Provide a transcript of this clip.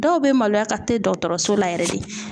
Dɔw bɛ maloya ka te dɔkɔtɔrɔso la yɛrɛ de